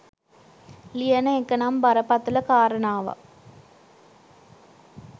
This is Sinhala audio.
ලියන එක නම් බරපතල කාරණාවක්.